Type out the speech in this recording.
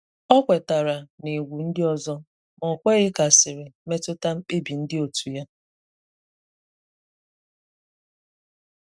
Ọ kwètàrà n'ègwù ndị òzò, ma ọkweghị ka asịrị metụta mkpebi ndị òtù'ya.